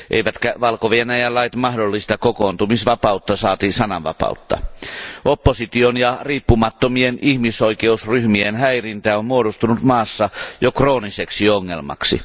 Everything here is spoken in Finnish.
Eivätkä Valko Venäjän lait mahdollista kokoontumisvapautta saati sananvapautta. Opposition ja riippumattomien ihmisoikeusryhmien häirintä on muodostunut maassa jo krooniseksi ongelmaksi.